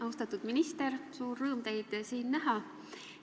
Austatud minister, on suur rõõm siin teid näha!